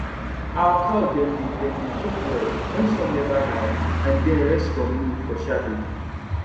our cow dem dey dem dey chop well wen sun never high and den rest from noon for shadow